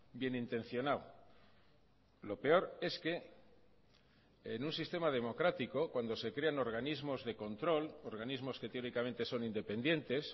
bien intencionado lo peor es que en un sistema democrático cuando se crean organismos de control organismos que teóricamente son independientes